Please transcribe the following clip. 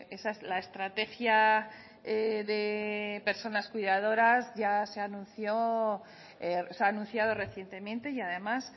esa es la estrategia de personas cuidadoras ya se anunció se ha anunciado recientemente y además